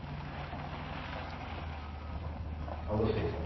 অবশ্যই sir